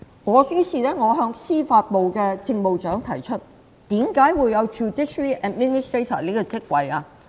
我再向司法機構政務長提出，為何會有司法機構政務長這個職位？